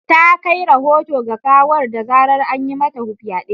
ta kai rahoto ga gawar da zarar an yi mata fyade.